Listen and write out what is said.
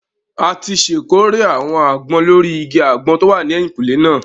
A ti ṣèkórè àwọn àgbọn lórí igi àgbọn tó wà ní ẹ̀yìnkúlé náà